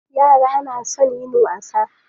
Yara na son yin wasa.